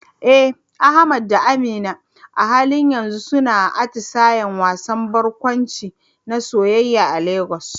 Eh Ahmad da Amina a halin yanzu suna atisayen wasan barkwanci na soyayya a Lagos.